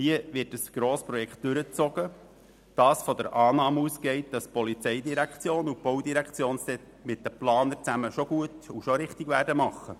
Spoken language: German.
Hier wird ein Grossprojekt durchgezogen, das von der Annahme ausgeht, dass die POM und die BVE mit den Planern schon alles gut und richtig machen werden.